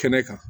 Kɛnɛ kan